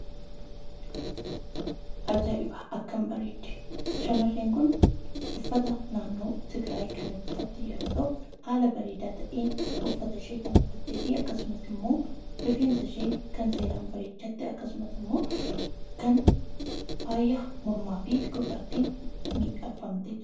Ajaa'iba! Akkam bareeddi! Shamarreen kun uffata naannoo Tigiraayi kan uffatte yeroo ta'u, haala bareedaa ta'een uffata ishee kan uffattee fi akkasumas immoo rifeensa ishee kan seeraan bareechatte akkasumas immoo kan faaya mormaa fi gurraatti miidhagfamtee jirtudha.